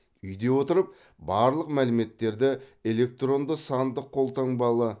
үйде отырып барлық мәліметтерді электронды сандық қолтаңбалы